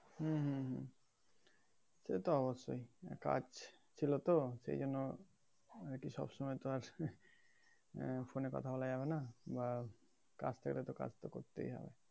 হুম হুম হুম সেতো অবশ্যই কাজ ছিল তো সেইজন্য আরকি সবসময় তো আর আহ phone এ কোথা বলা যাবেনা বা কাজ থাকলে তো কাজতো করতেই হবে।